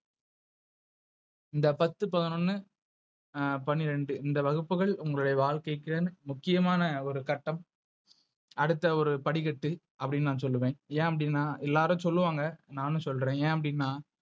இந்த பாத்து, பதனோன்னு, ஆஹ் பன்னிரண்டு, இந்த வகுப்புகள் உங்களுடைய வாழ்க்கைக்கு முக்கியமான ஒரு கட்டம். அடுத்த ஒரு படிக்கட்டு அப்படின்னு நான் சொல்லுவேன். ஏன் அப்டினா எல்லாரும் சொல்லு வாங்க, நானும் சொல்றேன் எ அப்டினா.